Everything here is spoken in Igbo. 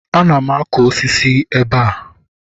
Ana m akụ osisi ebe a.